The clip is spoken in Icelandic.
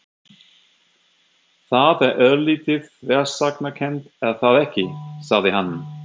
Það er örlítið þversagnakennt, er það ekki? sagði hann.